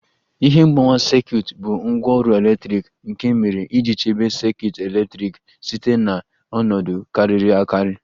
Ihe mgbawa sekit bụ ngwaọrụ eletrik nke e mere iji chebe sekit eletrik site na ọnọdụ kariri akari